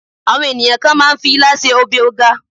àwọn ènìyàn kàn ma n fi ila se obe oga